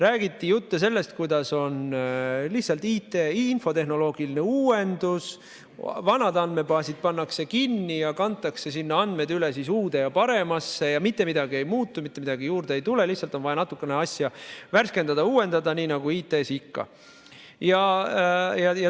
Räägiti jutte sellest, kuidas on lihtsalt infotehnoloogiline uuendus, vanad andmebaasid pannakse kinni ja kantakse andmed üle uude ja paremasse, mitte midagi ei muutu, mitte midagi juurde ei tule, lihtsalt on vaja natukene asja värskendada ja uuendada nii nagu IT-valdkonnas ikka.